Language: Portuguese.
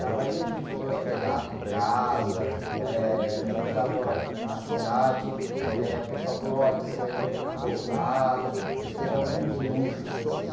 Na Bahia a gente foi hospedado em casa, eh, a gente estava na cidade, eh, o pessoal falou, olha, você vai dormir na pousada, a gente teve alguns luxos, assim...